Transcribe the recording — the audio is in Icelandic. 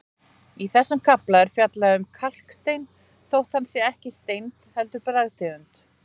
Í þessum kafla er fjallað um kalkstein þótt hann sé ekki steind heldur bergtegund.